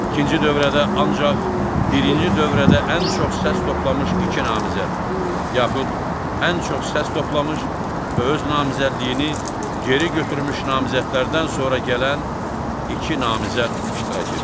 İkinci dövrədə ancaq birinci dövrədə ən çox səs toplamış iki namizəd, yaxud ən çox səs toplamış və öz namizədliyini geri götürmüş namizədlərdən sonra gələn iki namizəd iştirak edir.